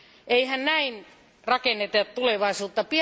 Eihän näin rakenneta tulevaisuutta!